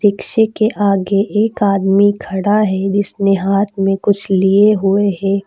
इसी के आगे एक आदमी खड़ा है जिसने हाथ में कुछ लिए हुए है।